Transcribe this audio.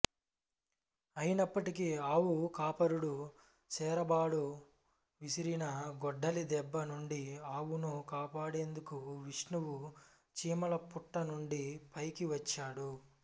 అయినప్పటికీ ఆవు కాపరుడు శేరాబడు విసిరిన గొడ్డలి దెబ్బ నుండి ఆవును కాపాడేందుకు విష్ణువు చీమలపుట్ట నుండి పైకి వచ్చాడు